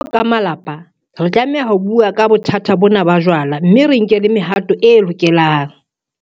Jwalo ka malapa, re tlameha ho bua ka bothata bona ba jwala mme re nke le mehato e lokelang.